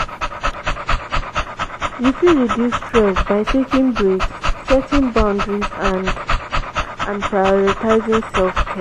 you fit reduce stress by taking breaks setting boundaries and and prioritizing self-care.